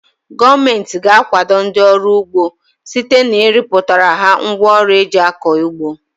Gọọmenti ga-akwado ndị ọrụ ugbo site na ịrọpụtara ha ngwa ọrụ eji akọ ugbo.